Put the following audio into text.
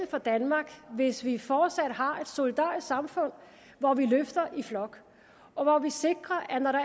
for danmark hvis vi fortsat har et solidarisk samfund hvor vi løfter i flok og hvor vi sikrer at når der